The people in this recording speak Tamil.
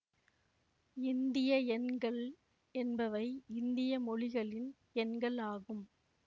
இந்திய எண்கள் என்பவை இந்திய மொழிகளின் எண்கள் ஆகும்